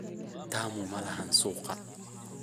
Fayazi tamu malaxan suuga.